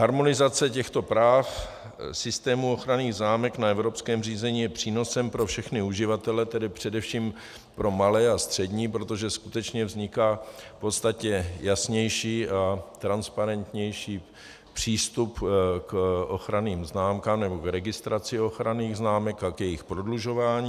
Harmonizace těchto práv systému ochranných známek na evropském řízení je přínosem pro všechny uživatele, tedy především pro malé a střední, protože skutečně vzniká v podstatě jasnější a transparentnější přístup k ochranným známkám nebo k registraci ochranných známek a k jejich prodlužování.